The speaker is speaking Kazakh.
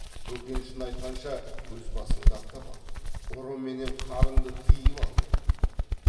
бөкеншіні айтқанша өз басыңды ақтап ал ұры менен қарынды тыйып ал деді